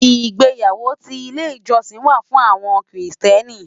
Igbéyàwó ti ilé ijòsín wá fún áwòn Kristièní